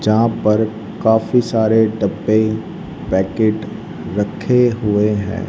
जहां पर काफी सारे डब्बे पैकेट रखे हुए हैं।